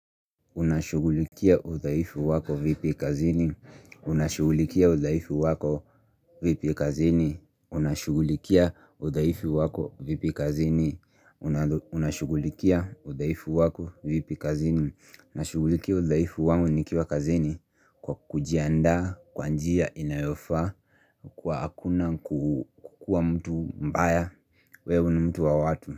Unashugulikia udhaifu wako vipi kazini Unashugulikia udhaifu wako vipi kazini Kwa kujiandaa kwa njia inayofaa kwa hakuna kukua mtu mbaya weww ni mtu wa watu.